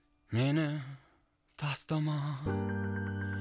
мені тастама